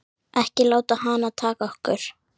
Ekki láta hana taka okkur.